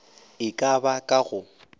e ka ba ka go